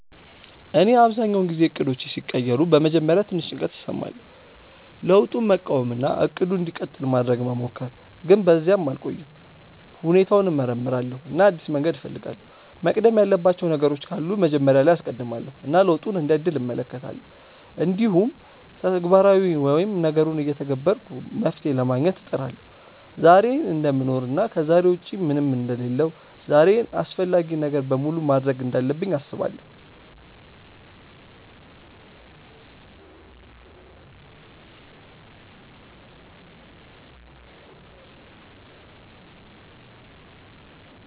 እኔ አብዛኛውን ጊዜ እቅዶቼ ሲቀየሩ በመጀመሪያ ትንሽ ጭንቀት እሰማለሁ፣ ለውጡን መቃወም እና “እቅዱ እንዲቀጥል” ማድረግ መሞከር፣ ግን በዚያ አልቆይም። ሁኔታውን እመርምራለሁ እና አዲስ መንገድ እፈልጋለሁ፤ መቅደም ያለባቸው ነገሮች ካሉ መጀመሪያ ላይ አስቀድማለው እና ለውጡን እንደ እድል እመለከታለሁ። እንዲሁም ተግባራዊ ወይም ነገሩን እየተገበርኩ መፍትሄ ለማግኘት እጥራለሁ። ዛሬን እደምኖር እና ከዛሬ ውጪ ምንም አንደ ሌለሁ ዛሬን አፈላጊውን ነገር በሙሉ ማድርግ እንዳለብኝ አስባለው።